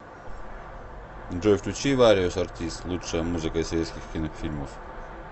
джой включи вариос артистс лучшая музыка из советских кинофильмов